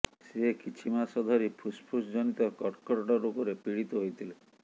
ସେ କିଛି ମାସ ଧରି ଫୁସ୍ଫୁସ ଜନିତ କର୍କଟ ରୋଗରେ ପୀଡିତ ହୋଇଥିଲେ